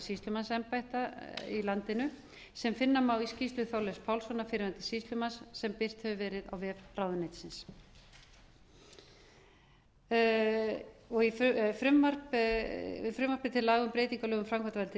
sýslumannsembætta í landinu sem finna má í skýrslu þorleifs pálssonar fyrrverandi sýslumanns sem birt hefur verið á vef ráðuneytisins í frumvarpi til laga um breytingu á lögum um framkvæmdavald